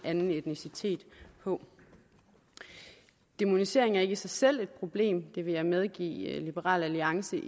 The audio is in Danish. anden etnicitet på dæmonisering er ikke i sig selv et problem det vil jeg medgive liberal alliance